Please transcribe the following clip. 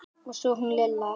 Og svo hún Lilla.